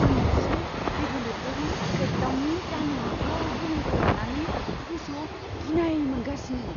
आं मोनसे रेगुलेटरि क्रेकडाउननि जानो हाथाव गोहोमखौ लानानै गोसोआव गिनाय मोनगासिनो।